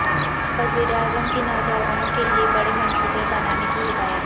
وزیر اعظم کی نوجوانوں کے لیے بڑے منصوبے بنانے کی ہدایت